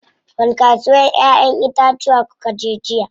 Wani kasuwar ƴayen itatuwa kukaje jiya?